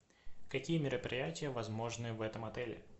какие мероприятия возможны в этом отеле